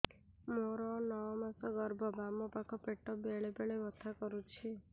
ମୋର ନଅ ମାସ ଗର୍ଭ ବାମ ପାଖ ପେଟ ବେଳେ ବେଳେ ବଥା କରୁଛି